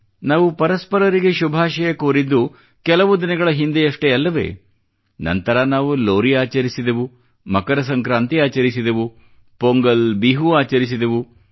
ನಾವು ಪರಸ್ಪರರಿಗೆ ಶುಭಾಶಯ ಕೋರಿದ್ದು ಕೆಲವು ದಿನಗಳ ಹಿಂದೆಯಷ್ಟೇ ಅಲ್ಲವೇ ನಂತರ ನಾವು ಲೋರಿ ಆಚರಿಸಿದೆವು ಮಕರ ಸಂಕ್ರಾಂತಿ ಆಚರಿಸಿದೆವು ಪೊಂಗಲ್ ಬಿಹು ಆಚರಿಸಿದೆವು